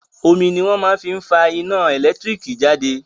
Omi ni wón máa fi ń fa iná ẹ̀lẹ́tíríkì jáde